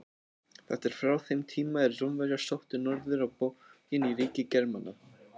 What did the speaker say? Þetta er frá þeim tíma er Rómverjar sóttu norður á bóginn í ríki Germana.